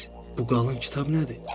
Bu qalın kitab nədir?